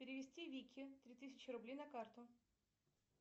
перевести вике три тысячи рублей на карту